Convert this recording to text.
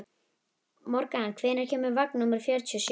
Morgan, hvenær kemur vagn númer fjörutíu og sjö?